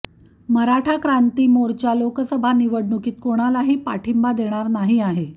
मराठा क्रांती मोर्चा लोकसभा निवडणुकीत कोणालाही पाठिंबा देणार नाही आहे